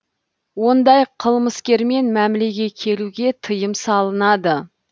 ондай қылмыскермен мәмілеге келуге тыйым салынады